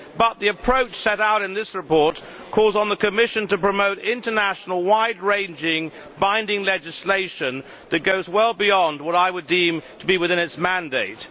But the approach set out in this report calls on the Commission to promote international, wide ranging, binding legislation that goes well beyond what I would deem to be within its mandate.